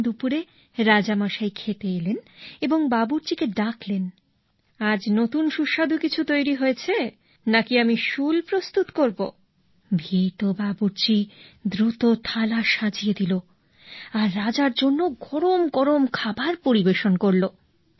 পরদিন দুপুরে রাজামশাই খেতে এলেন এবং বাবুর্চিকে ডাকলেন আজ নতুন সুস্বাদু কিছু তৈরি হয়েছে নাকি আমি শুল প্রস্তুত করব ভীত বাবুর্চি দ্রুত থালা সাজিয়ে দিলো আর রাজার জন্য গরম গরম খাবার পরিবেশন করলো